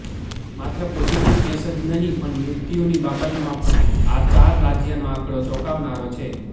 માત્ર positive case જ નહીં પણ મૃત્યુંની બાબતમાં પણ આ ચાર રાજ્યનો આંકડો ચોંકાવનારો છે